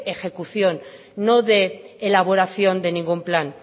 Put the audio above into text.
ejecución no de elaboración de ningún plan